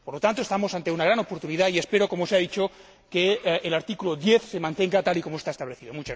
Por lo tanto, nos hallamos ante una gran oportunidad, y espero, como se ha dicho, que el artículo 10 se mantenga tal y como está establecido.